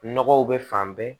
Nɔgɔw bɛ fan bɛɛ